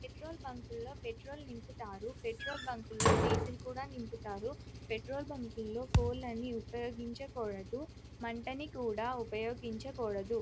Petrol బంక్లో petrol నింపుతారు petrol bunk లో డీజిల్ కూడా నింపుతారు పెట్రోల్ బంక్ లో ఫోన్ ని ఉపయోగించకూడదు మంటని కూడా ఉపయోగించకూడదు.